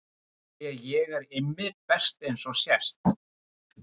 Því ég er Immi best eins og sést.